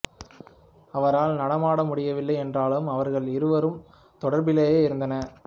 அவரால் நடனமாட முடியவில்லை என்றாலும் அவர்கள் இருவரும் தொடர்பிலேயே இருந்தனர்